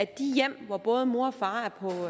de hjem hvor både mor og far